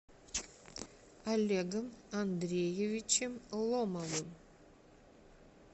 олегом андреевичем ломовым